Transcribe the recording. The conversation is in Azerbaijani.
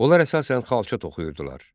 Onlar əsasən xalça toxuyurdular.